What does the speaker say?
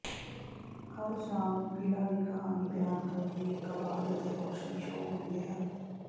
ਹਰ ਸ਼ਾਮ ਨੂੰ ਕਿਲ੍ਹਾ ਦੀ ਕਹਾਣੀ ਬਿਆਨ ਕਰਦੀ ਇਕ ਆਵਾਜ਼ ਅਤੇ ਰੋਸ਼ਨੀ ਸ਼ੋਅ ਹੁੰਦੇ ਹਨ